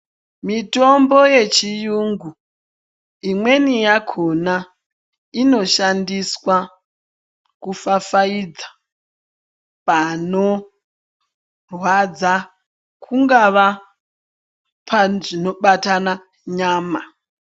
Mitombo yechiyungu imweni yakona inoshandiswa kufafaidza panorwadza kungava pazvino batana nyama.